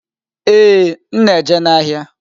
Ee, m na-eje n'ahịa.